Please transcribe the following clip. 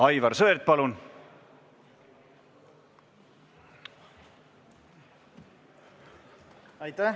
Aivar Sõerd, palun!